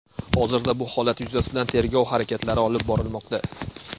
Hozirda bu holat yuzasidan tergov harakatlari olib borilmoqda.